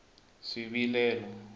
swivilelo